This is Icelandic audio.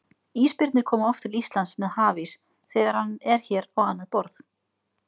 Ísbirnir koma oft til Íslands með hafís þegar hann er hér á annað borð.